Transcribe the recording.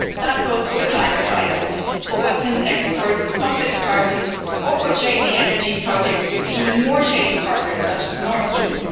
That goes for the climate crisis, for weapons exports, for conflict parties or for shady energy projects with even more shady partners such as Nord Stream.